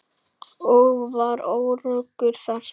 Ég var öruggur þar.